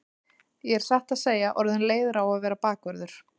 Ég er satt að segja orðinn leiður á að vera bakvörður.